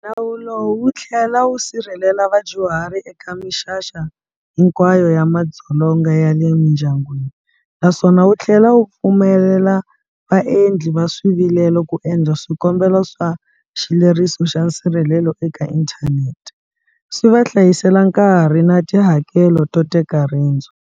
Nawu lowu wu tlhela wu sirhelela vadyuhari eka mixaka hinkwayo ya madzolonga ya le mindyangwini, naswona wu tlhela wu pfumelela vaendli va swivilelo ku endla swikombelo swa xileriso xa nsirhelelo eka inthanete, swi va hlayisela nkarhi na tihakelo to teka rendzo.